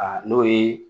Aa n'o ye